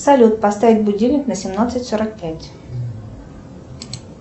салют поставь будильник на семнадцать сорок пять